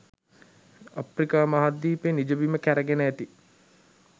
අප්‍රිකා මහද්වීපය නිජබිම් කැරගෙන ඇති